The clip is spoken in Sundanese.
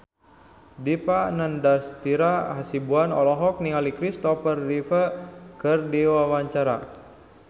Dipa Nandastyra Hasibuan olohok ningali Kristopher Reeve keur diwawancara